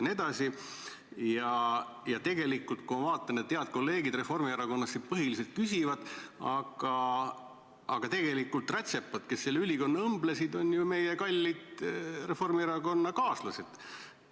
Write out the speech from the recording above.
Ma vaatan, et head kolleegid Reformierakonnast on siin need, kes põhiliselt küsivad, aga tegelikult on nad ka rätsepad, kes selle ülikonna õmblesid – meie kallid reformierakondlastest kaaslased.